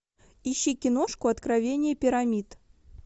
ищи киношку откровения пирамид